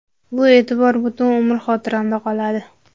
Bu e’tibor butun umr xotiramda qoladi.